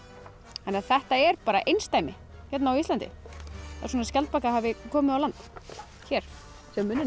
þannig að þetta er einsdæmi hérna á Íslandi að svona skjaldbaka hafi komið á land hér sjáið munninn á